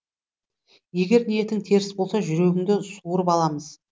егер ниетің теріс болса жүрегіңді суырып аламыз